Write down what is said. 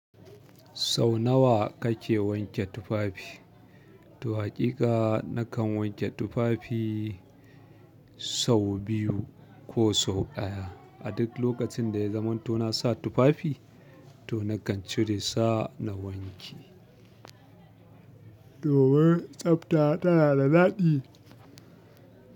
Sau nawa kake wanke tufafi? To hakika nakan wanke tufafi sau biyu ko sau ɗaya. A duk lokacin da ya zamanto na sa tufafi to nakan cire sa na wanke. Domin tsafta tana da daɗi.